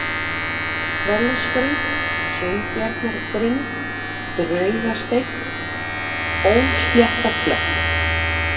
Trollesgrunn, Sveinbjarnargrunn, Draugasteinn, Ósléttaklöpp